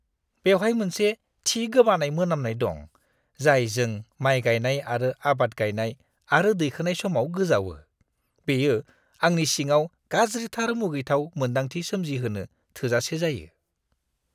बेवहाय मोनसे थि गोबानाय मोनामनाय दं जाय जों माय गायनाय आरो आबाद गायनाय आरो दैखोनाय समाव गोजावो, बेयो आंनि सिङाव गाज्रिथार मुगैथाव मोनदांथि सोमजिहोनो थोजासे जायो।